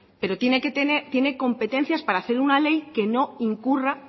pero tiene competencias para hacer una ley que no incurra